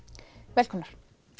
velkomnar